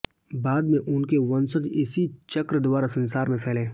बाद में उनके वंशज इसी चक्र द्वारा संसार में फैले